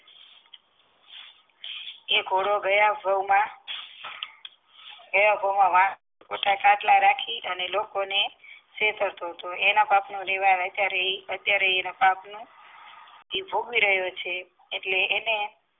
એ ઘોડો ગયા ગયા માં રાખી અને લોકોને છેતરતો હતો એના પાપનું નિવારણ ત્યારે એ અત્યારે એના પાપનું નિવારણ એ ભોગવી રહ્યો છે એટલે એને